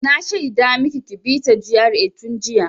Na shaida maki ki bi ta GRA tun jiya!